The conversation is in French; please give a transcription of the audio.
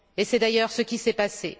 Et c'est d'ailleurs ce qui s'est passé.